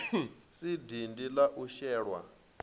si dindi la u shelwa